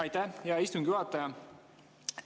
Aitäh, hea istungi juhataja!